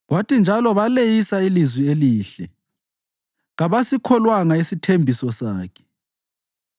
Kwathi njalo baleyisa ilizwe elihle; kabasikholwanga isithembiso sakhe.